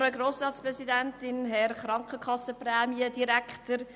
Frau Grossratspräsidentin, Herr «Krankenkassenprämiendirektor».